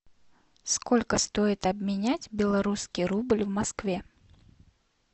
сколько стоит обменять белорусский рубль в москве